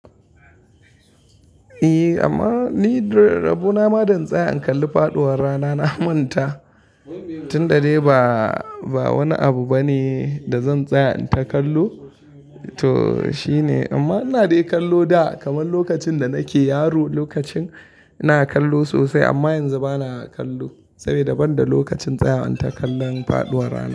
Eh amma ni rabo na ma dan tsaya in kalli faduwar rana na manta, tun da dai ba wani abu bane da zan tsaya in ta kallo to shine. Amma ina dai kallo da kaman lokacin da nake yaro lokacin ina kallo sosai amma yanzu bana kallo saboda banda lokacin tsaya in ta kallon faduwar rana.